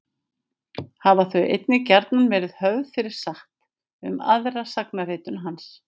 hafa þau einnig gjarnan verið höfð fyrir satt um aðra sagnaritun hans